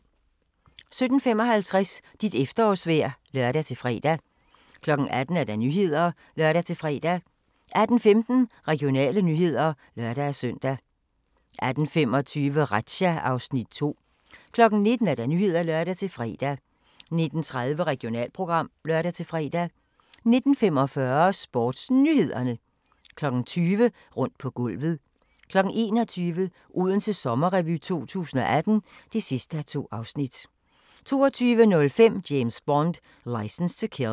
17:55: Dit efterårsvejr (lør-fre) 18:00: Nyhederne (lør-fre) 18:15: Regionale nyheder (lør-søn) 18:25: Razzia (Afs. 2) 19:00: Nyhederne (lør-fre) 19:30: Regionalprogram (lør-fre) 19:45: SportsNyhederne 20:00: Rundt på gulvet 21:00: Odense Sommerrevy 2018 (2:2) 22:05: James Bond: Licence to Kill